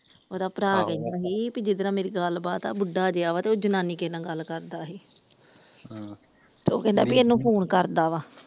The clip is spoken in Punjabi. ਉਹਦਾ ਭਰਾ ਕਹਿੰਦਾ ਸੀ ਵੀ ਜਿਹਦੇ ਨਾਲ ਮੇਰੀ ਗੱਲਬਾਤ ਆ ਬੁੱਢਾ ਜੇਹਾ ਆ ਉਹ ਜਨਾਨੀ ਕਿਸੇ ਨਾਲ ਗੱਲ ਕਰਦਾ ਸੀ ਤੇ ਉਹ ਕਹਿੰਦਾ ਇਹਨੂੰ ਫੋਨ ਕਰਦਾ ਵਾ ।